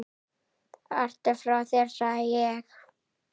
Ertu frá þér sagði ég.